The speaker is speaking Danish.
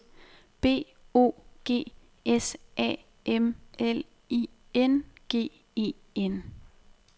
B O G S A M L I N G E N